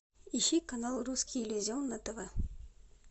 ищи канал русский иллюзион на тв